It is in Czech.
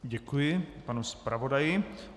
Děkuji panu zpravodaji.